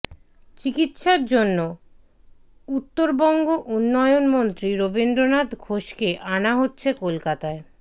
চিকিৎসার জন্য উত্তরবঙ্গ উন্নয়নমন্ত্রী রবীন্দ্রনাথ ঘোষকে আনা হচ্ছে কলকাতায়